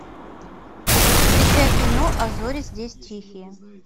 включай кино а зори здесь тихие